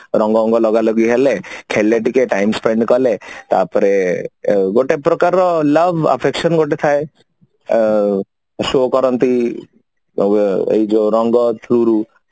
ରଙ୍ଗ ବଙ୍ଗ ଲଗାଲଗି ହେଲେ ଖେଳିଳେ ଟିକେ ଟିକେ spend କଲେ ଗୋଟେ ପ୍ରକାରର love affection ଗୋଟେ ଥାଏ ଅ show କରନ୍ତି ଏବେ ଏଇ ଯୋଉ ରଙ୍ଗ ଫିରି